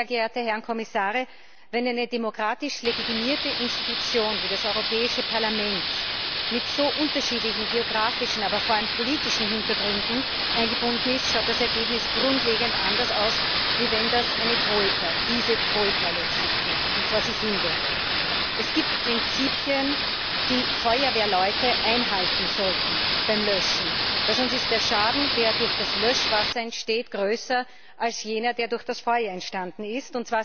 Sie sehen, sehr geehrte Herren Kommissare, wenn eine demokratisch legitimierte Institution wie das Europäische Parlament mit so unterschiedlichen geografischen, aber vor allem politischen Hintergründen eingebunden ist, sieht das Ergebnis grundlegend anders aus, als wenn eine Troika, diese Troika letztlich, vor sich hin werkelt. Es gibt Prinzipien, die Feuerwehrleute beim Löschen einhalten sollten, denn sonst ist der Schaden, der durch das Löschwasser entsteht, größer als jener, der durch das Feuer entstanden ist.